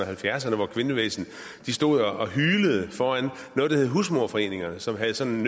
halvfjerdserne hvor kvindebevægelsen stod og hylede foran noget der hed husmoderforeningerne som havde sådan